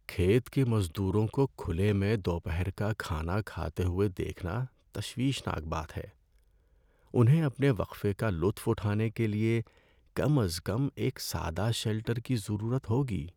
کھیت کے مزدوروں کو کھلے میں دوپہر کا کھانا کھاتے ہوئے دیکھنا تشویشناک بات ہے۔ انہیں اپنے وقفے کا لطف اٹھانے کے لیے کم از کم ایک سادہ شیلٹر کی ضرورت ہوگی۔